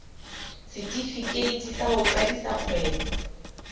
setefikeiti sa ho qadisa kgwebo